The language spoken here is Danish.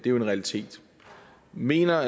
en realitet mener